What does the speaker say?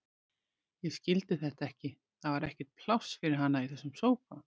Ég skildi þetta ekki, það var ekkert pláss fyrir hana í þessum sófa.